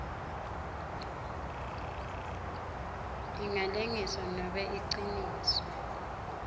ingalengiswa nobe incishiswe